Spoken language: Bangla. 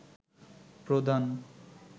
প্রদান